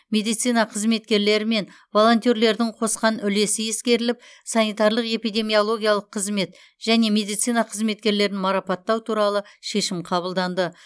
медицина қызметкерлері мен волонтерлердің қосқан үлесі ескеріліп санитарлық эпидемиологиялық қызмет және медицина қызметкерлерін марапаттау туралы шешім қабылданды